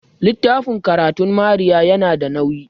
littafin karatun Maria yana da nauyi